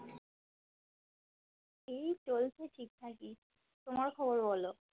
এই চলছে ঠিক ঠাকই তোমার খবর বলো